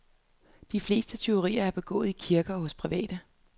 De fleste tyverier er begået i kirker og hos private.